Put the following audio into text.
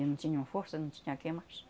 E não tinham força, não tinha quem mais.